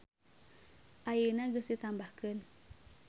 Ayeuna geus ditambahkeun.